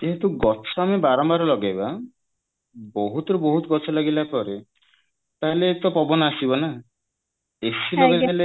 ଯେହେତୁ ଗଛ ଆମେ ବାରମ୍ବାର ଲଗେଇବା ବହୁତ ବହୁତ ଗଛ ଲଗେଇଲା ପରେ ତାହାଲେ ହିଁ ତ ପବନ ଆସିବ ନା